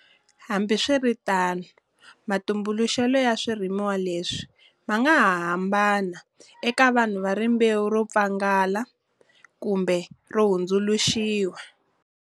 Hambi swiritano, matumbuluxelo ya swirhumiwa leswi ma nga ha hambana eka vanhu va rimbewu ro pfangela kumbe ro hundzuluxiwa.